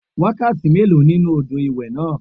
Wákàtí méèló nínú odò ìwẹ̀ náà?